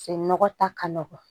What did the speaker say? Se nɔgɔ ta ka nɔgɔn